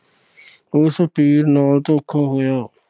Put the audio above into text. ਉਸ ਪੀਰ ਨਾਲ ਧੋਖਾ ਹੋਇਆ।